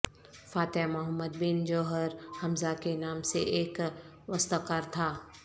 فاتح محمد بن جوہر حمزہ کے نام سے ایک واستکار تھا